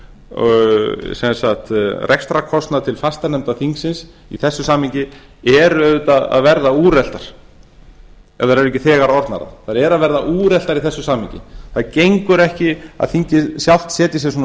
og rekstrarkostnað til fastanefnda þingsins í þessu samhengi eru auðvitað að verða úreltar ef þær eru ekki þegar orðnar það þær eru að verða úreltar í þessu samhengi það gengur ekki að þingið sjálft setji sér svona